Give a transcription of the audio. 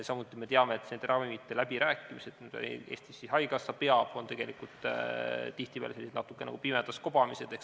Samuti me teame, et need ravimite läbirääkimised, mida Eestis haigekassa peab, on tegelikult tihtipeale sellised natuke nagu pimedas kobamised.